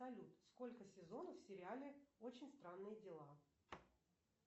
салют сколько сезонов в сериале очень странные дела